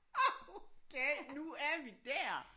Er du gal nu er vi der